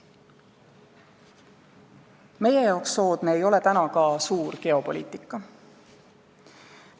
Meile ei ole praegu soodne ka suur geopoliitika.